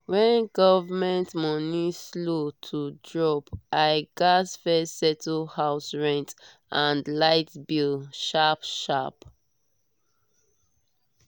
when government money slow to drop i gats first settle house rent and light bill sharp-sharp.